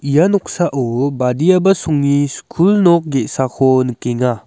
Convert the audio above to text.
ia noksao badiaba songni skul nok ge·sako nikenga.